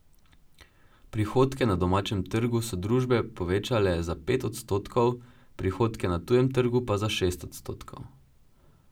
Prihodke na domačem trgu so družbe povečale za pet odstotkov, prihodke na tujem trgu pa za šest odstotkov.